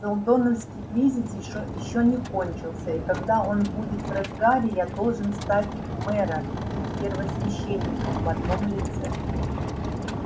сэлдоновский кризис ещё не кончился и когда он будет в разгаре я должен стать мэром и первосвященником в одном лице